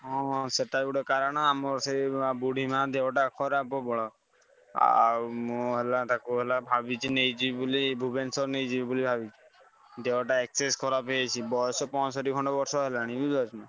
ହଁ ହଁ ସେଟା ଗୋଟେ କାରଣ ଆମର ସେଇ ବୁଢୀ ମାଆ ଦେହଟା ଖରାପ ପ୍ରବଳ। ଆଉ ମୁଁ ହେଲା ତାକୁ ହେଲା ଭାବିଛି ନେଇଯିବି ବୋଲି ଭୁବନେଶ୍ବର ନେଇଯିବି ବୋଲି ଭାବିଛି ଦେହ ଟା excess ଖରାପ ହେଇଯାଇଛି ବୟସ ପଁଅଷଠି ଖଣ୍ଡେ ବର୍ଷ ହେଲାଣି ବୁଝିପାରୁଛନା?